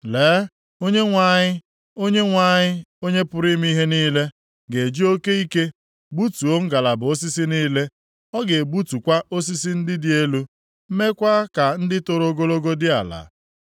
Lee Onyenwe anyị, Onyenwe anyị, Onye pụrụ ime ihe niile, ga-eji oke ike gbutuo ngalaba osisi niile. Ọ ga-egbutukwa osisi ndị dị elu, meekwa ka ndị toro ogologo dị ala.